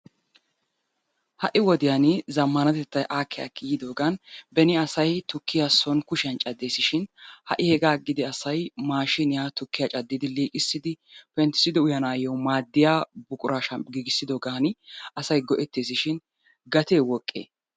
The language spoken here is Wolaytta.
Ha'i wodiyan zammanatettay aakki aakki yiiddoogan beni asay tukkiya soon kushiyan caddiishin ha'i hegaa agidi asay hegaa agidi asay mashiniya tukkiya caddiddi liiqqissidi penttissidi uyanaayo maadiya buquraa giggissiddogaan asay go'ettees shin gate woqqe?